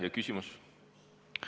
Ja küsimus?